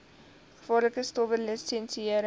gevaarlike stowwe lisensiëring